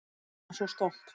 Við erum svo stolt